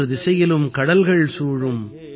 மூன்று திசையிலும் கடல்கள் சூழும்